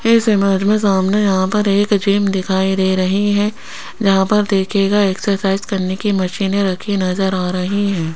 इस इमेज में सामने यहां पर एक जिम दिखाई दे रही है जहां पर देखिएगा एक्सरसाइज करने की मशीने रखी नजर आ रही है।